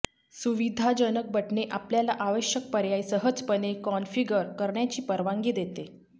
सुविधाजनक बटणे आपल्याला आवश्यक पर्याय सहजपणे कॉन्फिगर करण्याची परवानगी देते